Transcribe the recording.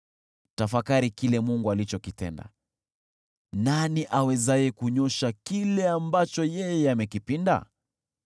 Tafakari kile Mungu alichokitenda: Nani awezaye kunyoosha kile ambacho yeye amekipinda?